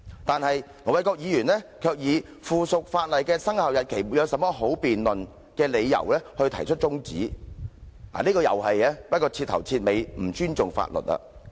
但是，盧議員卻以附屬法例的生效日期沒有甚麼好辯論為理由，動議中止待續議案，這是徹頭徹尾不尊重法律的做法。